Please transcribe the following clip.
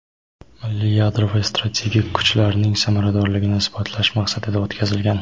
"milliy yadroviy strategik kuchlarning samaradorligini" isbotlash maqsadida o‘tkazilgan.